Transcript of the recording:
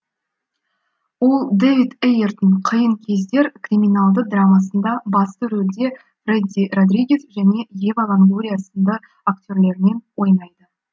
ол дэвид эйердің қиын кездер криминалды драмасында басты ролде фредди родригес және ева лонгория сынды актерлермен ойнайды